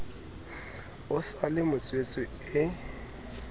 o sa le motswetse e